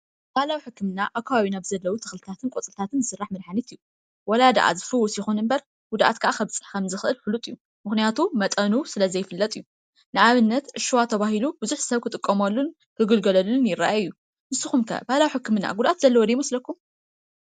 ባህላዊ ሕክምና ኣብ ከባቢና ዘለዉ ተኽልታትን ቆፅልታት ዝስራሕ መድሓኒታት እዩ፡፡ ወላ ደኣ ዝፍውስ ይኹን እምበር ጉድኣት ከዓ ከም ዘብፅሕ ፉሉጥ እዩ፡፡ ምኽንያቱ መጠኑ ስለ ዘይፍለጥ እዩ፡፡ ንኣብነት ዕፍ ሽዋ ተባሂሉ ብዙሕ ሰብ ክጥቀመሉን ክግልገለሉን ይረአ እዩ፡፡ ንስኩም ከ ባህላዊ ሕክምና ጉድኣት ዘለዎ ዶ ይመስለኩም?